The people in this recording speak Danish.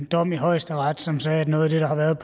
en dom i højesteret som sagde at noget af det der har været